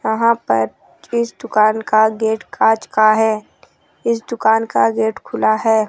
वहां पर इस दुकान का गेट कांच का है इस दुकान का गेट खुला है।